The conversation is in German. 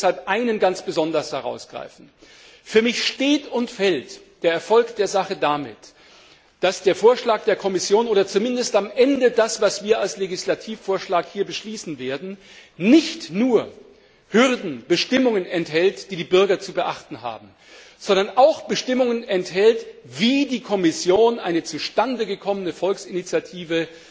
Ich möchte deshalb einen ganz besonders herausgreifen Für mich steht und fällt der Erfolg der Sache damit, dass der Vorschlag der Kommission oder zumindest am Ende das, was wir als Legislativvorschlag hier beschließen werden, nicht nur Hürden und Bestimmungen enthält, die die Bürger zu beachten haben, sondern auch Bestimmungen enthält, wie die Kommission eine zustande gekommene Volksinitiative